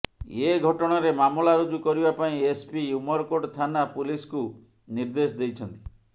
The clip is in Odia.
ଏ ଘଟଣାରେ ମାମଲା ରୁଜୁ କରିବା ପାଇଁ ଏସ୍ପି ଉମରକୋଟ ଥାନା ପୁଲିସ୍କୁ ନିର୍ଦ୍ଦେଶ ଦେଇଛନ୍ତି